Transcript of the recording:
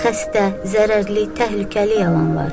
Xəstə, zərərli, təhlükəli yalanlar.